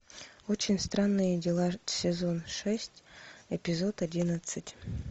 очень странные дела сезон шесть эпизод одиннадцать